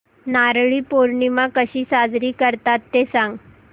नारळी पौर्णिमा कशी साजरी करतात ते सांग